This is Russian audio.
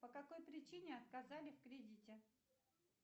по какой причине отказали в кредите